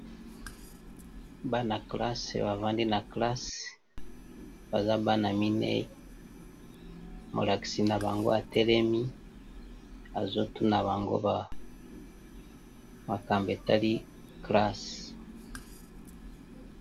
Bana kelasi bavandi nakati ya kelasi baza bana mine molakisi na bango atelemi azotuna bango makambo etali kelasi.